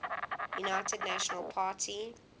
united national party